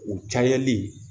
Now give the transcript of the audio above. U cayalen